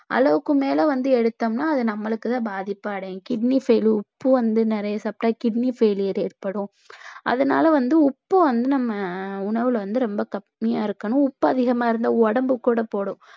அளவுக்கு மேல வந்து எடுத்தோம்னா அது நம்மளுக்குதான் பாதிப்படையும் kidney failure உப்பு வந்து நிறைய சாப்பிட்டா kidney failure ஏற்படும் அதனால வந்து உப்பு வந்து நம்ம உணவுல வந்து ரொம்ப கம்மியா இருக்கணும் உப்பு அதிகமா இருந்தா உடம்பு கூட போடும்